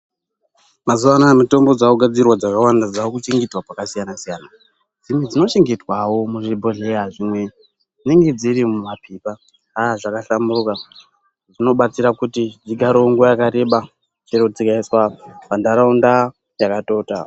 Mazuwanaya mitombo dzakugadzirwa dzakawanda dzakuchengeterwa pakasiyana siyana dzimwe dzinochengetwawo muzvibhodhlera dzimwe dzinenge dzirimumapepa aaa zvakahlamburuka zvinobatsira kuti dzigarewo nguwa yakareba chero dzikaiswa pantaraunda yakatota.